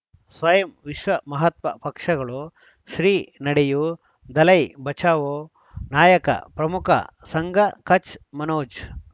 ಸ್ವಯಂ ವಿಶ್ವ ಮಹಾತ್ಮ ಪಕ್ಷಗಳು ಶ್ರೀ ನಡೆಯೂ ದಲೈ ಬಚೌ ನಾಯಕ ಪ್ರಮುಖ ಸಂಘ ಕಚ್ ಮನೋಜ್